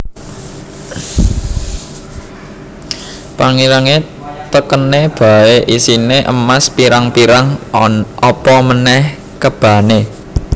Pangirane tekene bae isine emas pirang pirang apa manèh kebane